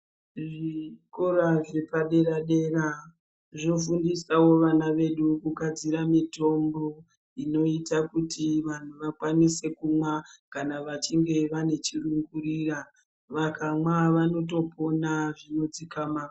Zvikora zvepadera dera zvofundisawo vana vedu kugadzira mitombo inoita kuti vanhu vakwanise kumwa kana vachinge vane chirungurira vakamwa vanotopona zvinodzikama .